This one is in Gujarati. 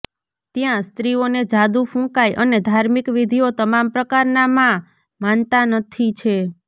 ત્યાં સ્ત્રીઓને જાદુ ફૂંકાય અને ધાર્મિક વિધિઓ તમામ પ્રકારના માં માનતા નથી છે